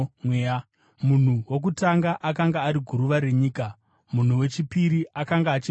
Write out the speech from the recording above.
Munhu wokutanga akanga ari guruva renyika, munhu wechipiri akanga achibva kudenga.